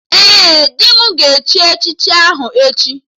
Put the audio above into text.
Ee, di m ga-echi echichi aha ya echi